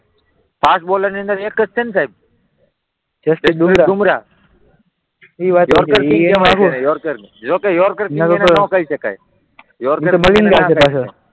fast બોલરની અંદર એક જ છે ને સાહેબ જસપ્રિત બૂમરાહ ના કહી શકાય